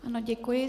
Ano, děkuji.